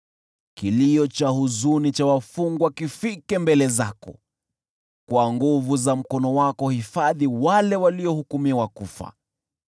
Kilio cha huzuni cha wafungwa kifike mbele zako; kwa nguvu za mkono wako hifadhi wale waliohukumiwa kufa.